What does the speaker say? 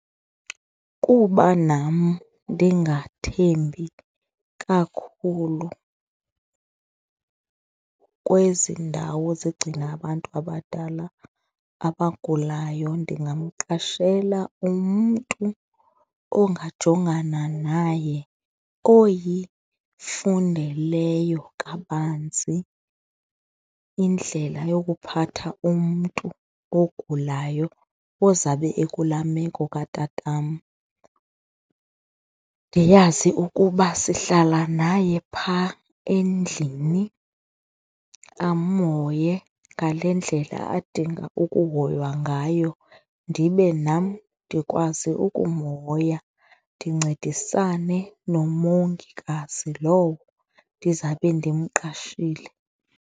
Kuba nam ndingathembi kakhulu kwezi ndawo zigcina abantu abadala abagulayo ndingamqashela umntu ongajongana naye oyifundeleyo kabanzi indlela yokuphatha umntu ogulayo ozabe ekulaa meko katatam. Ndiyazi ukuba sihlala naye phaa endlini, amhoye ngale ndlela adinga ukuhoywa ngayo ndibe nam ndikwazi ukumhoya ndincedisane nomongikazi lowo ndizabe ndimqashile.